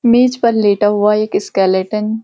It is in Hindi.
मेज पर लेटा हुआ एक स्केल्टेन ।